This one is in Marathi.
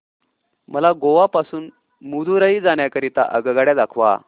मला गोवा पासून मदुरई जाण्या करीता आगगाड्या दाखवा